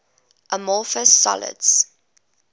amorphous solids